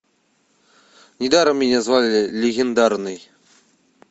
недаром меня звали легендарный